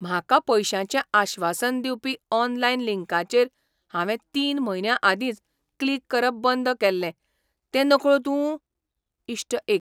म्हाका पैशांचें आश्वासन दिवपी ऑनलायन लिंकांचेर हांवें तीन म्हयन्यां आदींच क्लिक करप बंद केल्लें तें नकळो तूं ? इश्ट एक